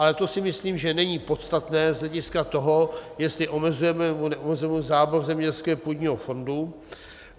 Ale to si myslím, že není podstatné z hlediska toho, jestli omezujeme, nebo neomezujeme zábor zemědělského půdního fondu.